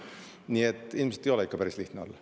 Nii et ilmselt ei ole ikka päris lihtne olla.